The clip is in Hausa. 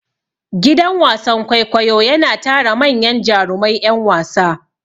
Gidan wasan kwaikwayo yana tara manyan jurumai ƴan wasa.